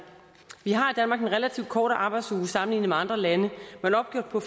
vi har i danmark en relativt kortere arbejdsuge sammenlignet med andre lande men opgjort på